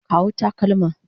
Kawo takalma.